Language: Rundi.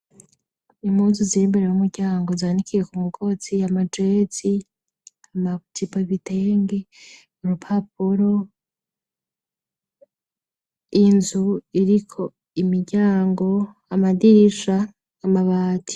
Impunzu ziri imbere y'umuryango, zanikiye ku mugozi, amajezi, amajipo, ibitenge, urupapuro, inzu iriko imiryango, amadirisha, amabati.